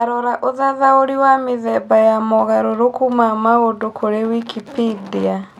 tarora ũthathaũri wa mĩthemba ya mogaruruku ma mũndũ kũri Wikipedia